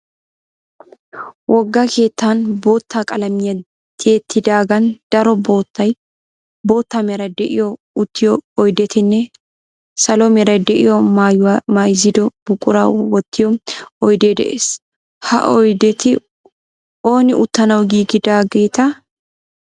Wogga keettan bootta qalamiya tiyettidaagan daro bootta meray de"iyo uttiyo oydettinne salo meray de"iyo maayuwa mayziddo buqura wottiyoo oydee de'ees. Ha oydeti ooni uttanawu giigidaagetee?